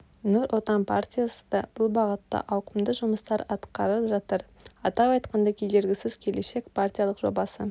нұр отан партиясы да бұл бағытта ауқымды жұмыстар атқарып жатыр атап айтқанда кедергісіз келешек партиялық жобасы